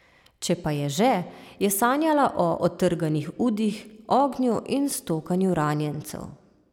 Če pa je že, je sanjala o odtrganih udih, ognju in stokanju ranjencev.